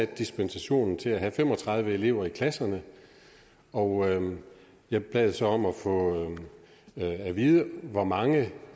dispensation til at have fem og tredive elever i klasserne og jeg bad så om at få at vide hvor mange